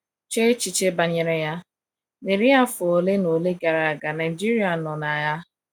Chee echiche banyere ya, n’iri afọ ole na ole gara aga Naijiria nọ n’agha.